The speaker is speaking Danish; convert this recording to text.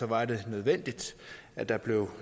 var det nødvendigt at der blev